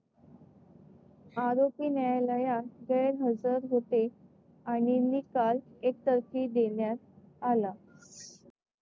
आरोपी न्यायालयात गैरहजर होते आणि निकाल एकतर्फी देण्यात आला.